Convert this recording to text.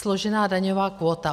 Složená daňová kvóta.